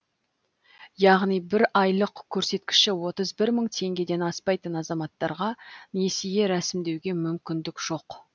яғни бір айлық көрсеткіші отыз бір мың теңгеден аспайтын азаматтарға несие рәсімдеуге мүмкіндік жоқ